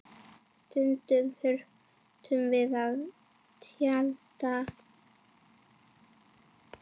Stundum þurftum við að tjalda.